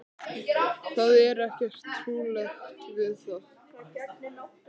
Það er ekkert trúarlegt við það.